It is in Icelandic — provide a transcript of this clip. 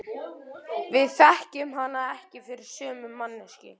Við þekkjum hana ekki fyrir sömu manneskju.